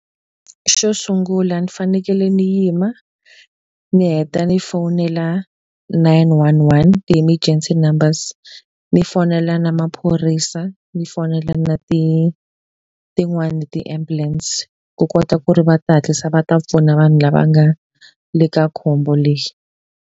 Xo sungula ndzi fanekele ndzi yima, ni heta ni fowunela nine one one ti-emergency numbers. Ni fonela na maphorisa, ni fonela na tin'wani ti-ambulance ku kota ku ri va ta hatlisa va ta pfuna vanhu lava nga le ka khombo leri.